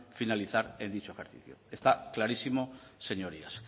finalizar en dicho ejercicio está clarísimo señorías